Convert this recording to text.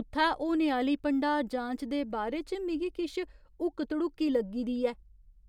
उत्थै होने आह्‌ली भंडार जांच दे बारे च मिगी किश हुक्क धड़ुक्की लग्गी दी ऐ।